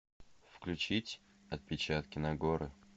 включить отпечатки нагоры